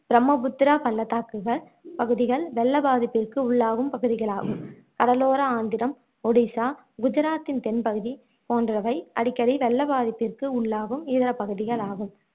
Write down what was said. பிரம்மபுத்திரா பள்ளத்தாக்குகள் பகுதிகள் வெள்ளப் பாதிப்பிற்கு உள்ளாகும் பகுதிகளாகும் கடலோர ஆந்திரம் ஓடிசா குஜராத்தின் தென்பகுதி போன்றவை அடிக்கடி வெள்ள பாதிப்புக்கு உள்ளாகும் இதர பகுதிகளாகும்